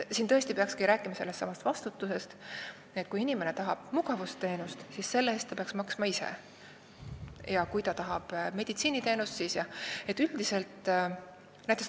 Siin peakski rääkima tõesti vastutusest, et kui inimene tahab mugavusteenust, mitte meditsiiniteenust, siis selle eest ta peaks maksma ise.